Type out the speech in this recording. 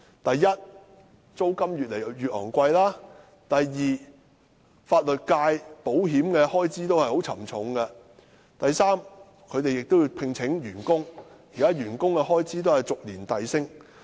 第一，租金越來越昂貴；第二，法律界保險的開支也十分沉重；及第三，他們亦要聘請員工，而員工的開支亦按年遞升。